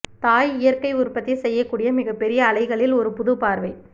தாய் இயற்கை உற்பத்தி செய்யக்கூடிய மிகப்பெரிய அலைகளில் ஒரு புது பார்வை